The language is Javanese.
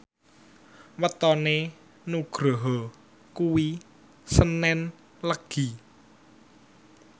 wetone Nugroho kuwi senen Legi